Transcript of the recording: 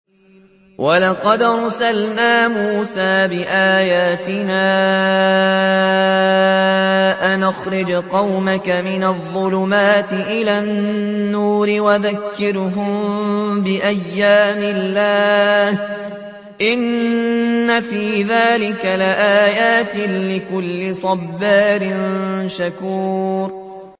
وَلَقَدْ أَرْسَلْنَا مُوسَىٰ بِآيَاتِنَا أَنْ أَخْرِجْ قَوْمَكَ مِنَ الظُّلُمَاتِ إِلَى النُّورِ وَذَكِّرْهُم بِأَيَّامِ اللَّهِ ۚ إِنَّ فِي ذَٰلِكَ لَآيَاتٍ لِّكُلِّ صَبَّارٍ شَكُورٍ